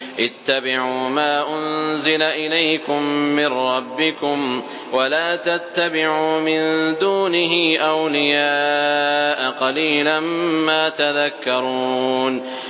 اتَّبِعُوا مَا أُنزِلَ إِلَيْكُم مِّن رَّبِّكُمْ وَلَا تَتَّبِعُوا مِن دُونِهِ أَوْلِيَاءَ ۗ قَلِيلًا مَّا تَذَكَّرُونَ